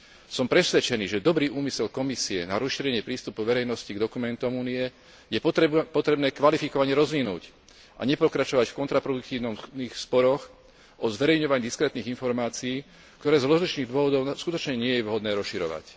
Som presvedčený, že dobrý úmysel Komisie na rozšírenie prístupu verejnosti k dokumentom Únie je potrebné kvalifikovane rozvinúť a nepokračovať v kontraproduktívnych sporoch o zverejňovaní diskrétnych informácií, ktoré z rozličných dôvodov skutočne nie je vhodné rozširovať.